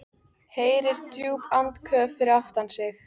Heyrir djúp andköf fyrir aftan sig.